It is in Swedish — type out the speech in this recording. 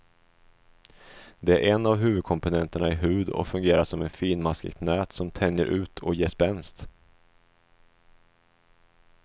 Det är en av huvudkomponenterna i hud och fungerar som ett finmaskigt nät som tänjer ut och ger spänst.